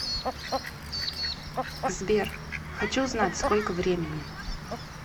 сбер хочу узнать сколько времени